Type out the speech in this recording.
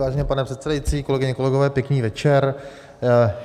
Vážený pane předsedající, kolegyně, kolegové, pěkný večer.